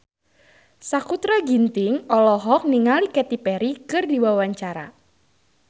Sakutra Ginting olohok ningali Katy Perry keur diwawancara